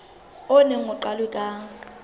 o neng o qalwe ka